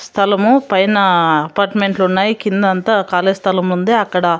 స్థలము పైన అపార్ట్మెంట్లు ఉన్నాయి కిందంతా కాలి స్థలం ఉంది అక్కడ.